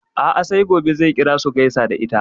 A'a sai gobe zai kira su gaisa da ita.